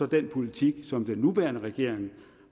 den politik som den nuværende regering